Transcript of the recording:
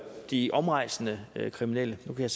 de omrejsende kriminelle nu kan